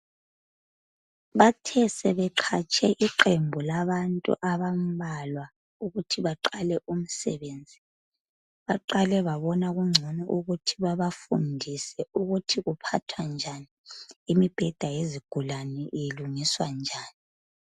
Bathe sebeqatshe iqembu labantu abambalwa ukuthi baqale umsebenzi. Baqale babona kungcono babafundise ukuthi kuphathwa njani lemibheda yezigulane ilungiswa njani.